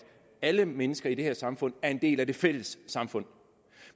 alle mennesker i det her samfund er en del af det fælles samfund